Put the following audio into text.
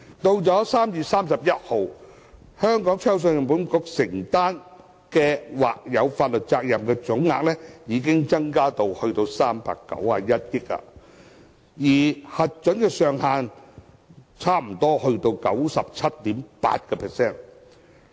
到了3月31日，信保局承擔的或有法律責任總額，已增至391億元，差不多達核准上限的 97.8%。